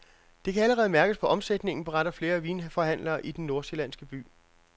Det kan allerede mærkes på omsætningen, beretter flere vinforhandlere i den nordsjællandske by.